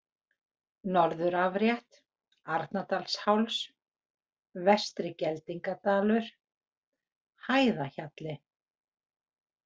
Norðurafrétt, Arnardalsháls, Vestri-Geldingadalur, Hæðahjalli